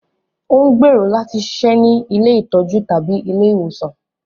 Ó n gbero lati ṣiṣẹ ni ìlé itọju tabi ìlé iwosan